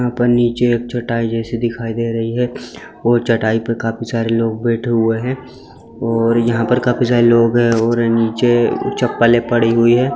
यहाँ पर नीचे एक चटाई जैसी दिखाई दे रही है और चटाई पे काफी सारे लोग बैठे हुए हैं और यहाँ पर काफी सारे लोग हैं और नीचे चप्पलें पड़ी हुई है।